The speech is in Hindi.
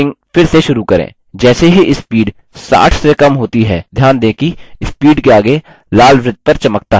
जैसे ही speed 60 से कम होती है ध्यान दें कि speed के as लाल वृत्त पर चमकता है